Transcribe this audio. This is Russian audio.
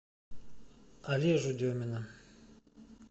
олежу демина